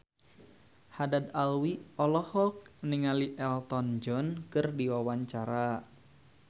Haddad Alwi olohok ningali Elton John keur diwawancara